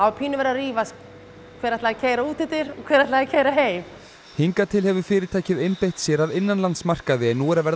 pínu verið að rífast hver ætlaði að keyra út eftir og hver ætlaði að keyra heim hingað til hefur fyrirtækið einbeitt sér að innanlandsmarkaði en nú er að verða